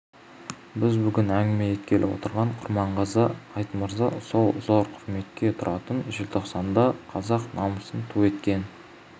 біз бүгін әңгіме еткелі отырған құрманғазы айтмырза сол зор құрметке тұратын желтоқсанда қазақ намысын ту еткен